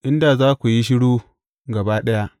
In da za ku yi shiru gaba ɗaya!